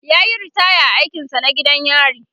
yayi ritaya a aikin sa na gidan yari